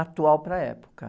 atual para a época.